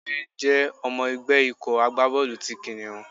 Túndé jẹ́ ọmọ ẹgbẹ́ ikọ̀ agbá bọ́ọ̀lù ti Kìnìún.